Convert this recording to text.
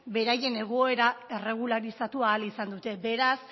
beraien egoera erregularizatu ahal izan dute beraz